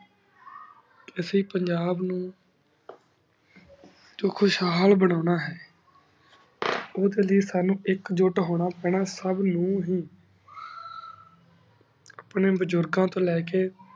ਅਸੀਂ ਪੰਜਾਬ ਨੂ ਖੁਖੁਸ਼ ਹਾਲ ਬ੍ਨੁਨਾ ਹੈ ਉਦੇ ਲਈ ਸਾਨੂ ਏਕ ਜੁਟ ਹੋਣਾ ਪੈਣਾ ਸਬ ਨੂ ਹੀ ਆਪਣੇ ਬਜ਼ੁਰਗ ਤੋਂ ਲੈ ਕੇ